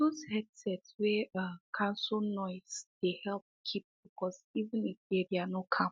those headset wey um cancel noise dey help keep focus even if area no calm